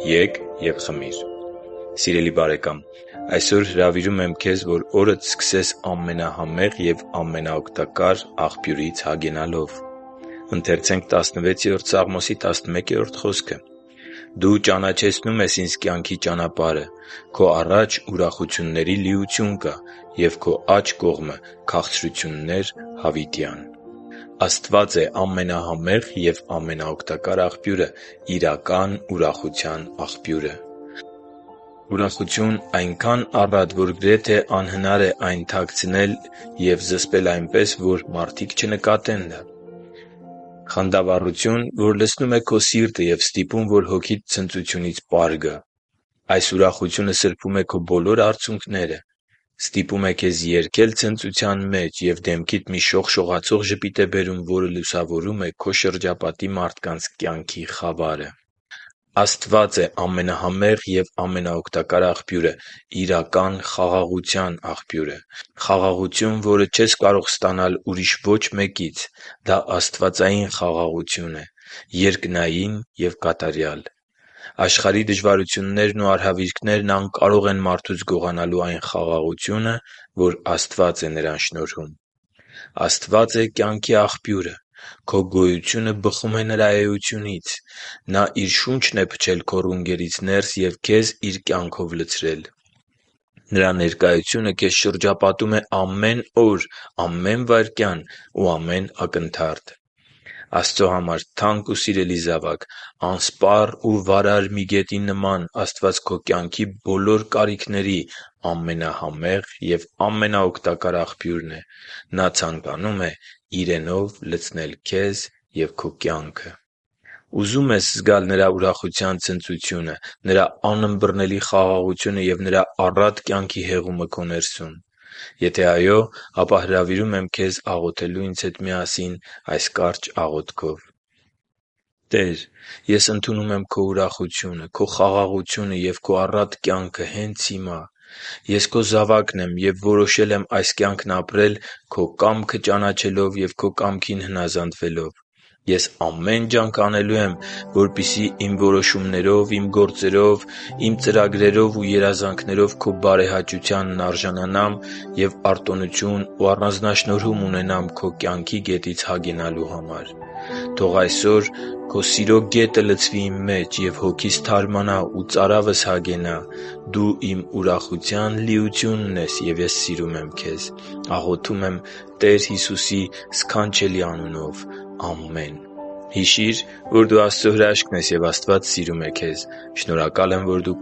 Ե՛կ և խմիր Սիրելի՛ բարեկամ, այսօր հրավիրում եմ քեզ, որ օրդ սկսես ամենահամեղ և ամենաօգտակար Աղբյուրից հագենալով․․․ «Դու ճանաչեցնում ես ինձ կյանքի ճանապարհը. Քո առաջ ուրախությունների լիություն կա, և Քո աջ կողմը՝ քաղցրություններ՝ հավիտյան» (Սաղմոս 16.11)։ Աստված է ամենահամեղ և ամենաօգտակար աղբյուրը՝ իրական ուրախության աղբյուրը… Ուրախություն՝ այնքա՜ն առատ, որ գրեթե անհնար է թաքցնել ու զսպել այնպես, որ մարդիկ չնկատեն այն: Խանդավառություն, որ լցնում է քո սիրտը և ստիպում, որ հոգիդ ցնծությունից պար գա: Այս ուրախությունը սրբում է քո բոլոր արցունքները, ստիպում է քեզ երգել ցնծության մեջ և դեմքիդ մի շողշողացող ժպիտ է բերում, որը լուսավորում է քո շրջապատի մարդկանց կյանքի խավարը: Աստված է ամենահամեղ և ամենաօգտակար աղբյուրը՝ իրական խաղաղության աղբյուրը… Խաղաղություն, որը չես կարող ստանալ ուրիշ ոչ մեկից: Դա աստվածային խաղաղություն է՝ երկնային և կատարյալ: Աշխարհի դժվարություններն ու արհավիրքներն անկարող են մարդուց գողանալու այն խաղաղությունը, որ Աստված է նրան շնորհում։ Աստված է կյանքի աղբյուրը… Քո գոյությունը բխում է Նրա էությունից: Նա Իր շունչն է փչել քո ռունգերից ներս և քեզ Իր կյանքով լցրել։ Նրա ներկայությունը քեզ շրջապատում է ամեն օր, ամեն վայրկյան ու ամեն ակնթարթ: Աստծո համար թանկ ու սիրելի՛ զավակ, անսպառ ու վարար մի գետի նման Աստված քո կյանքի բոլոր կարիքների ամենահամեղ և ամենաօգտակար աղբյուրն է։ Նա ցանկանում է Իրենով լցնել քեզ։ Ուզո՞ւմ ես զգալ Նրա ուրախության ցնծությունը, Նրա անըմբռնելի խաղաղությունը և Նրա առատ կյանքի հեղումը քո ներսում։ Եթե այո, ապա հրավիրում եմ քեզ աղոթելու ինձ հետ միասին այս կարճ աղոթքով․ «Տե՛ր, ես ընդունում եմ Քո ուրախությունը, Քո խաղաղությունը և Քո առատ կյանքը հենց հիմա: Ես Քո զավակն եմ և որոշել եմ այս կյանքն ապրել՝ Քո կամքը ճանաչելով և Քո կամքին հնազանդվելով։ Ես ամեն ջանք անելու եմ, որպեսզի իմ որոշումներով, իմ գործերով, իմ ծրագրերով ու երազանքներով Քո բարեհաճությանն արժանանամ և արտոնություն ու առանձնաշնորհում ունենամ Քո կյանքի գետից հագենալու համար։ Թող այսօր Քո սիրո գետը լցվի իմ մեջ, և հոգիս թարմանա ու ծարավս հագենա: Դու իմ ուրախության լիությունն ես, և ես սիրում եմ Քեզ: Աղոթում եմ Տեր Հիսուսի սքանչելի անունով։ Ամե՛ն»: Հիշի՛ր, որ դու Աստծո հրաշքն ես, և Աստված սիրում է քեզ։ Շնորհակալ եմ, որ դու